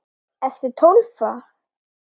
Ertu Tólfa?